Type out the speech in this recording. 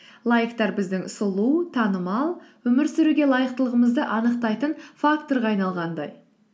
лайктар біздің сұлу танымал өмір сүруге лайықтылығымызды анықтайтын факторға айналғандай